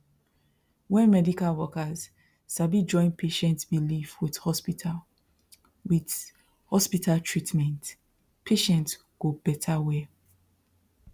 when medical workers sabi join patient belief with hospital with hospital treatment patient go better well